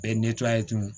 Bɛɛ ye ye tun